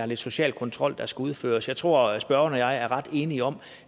lidt social kontrol der skulle udføres jeg tror at spørgeren og jeg er ret enige om